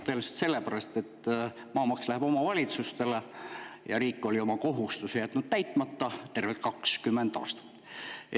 Tõenäoliselt selle pärast, et maamaks omavalitsustele ja riik oli jätnud oma kohustuse täitmata tervelt 20 aastat.